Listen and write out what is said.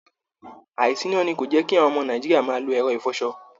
àìsíná ni kò ní jẹ́ kí àwọn ọmọ Nàìjíríà máa lo ẹ̀rọ ìfọṣọ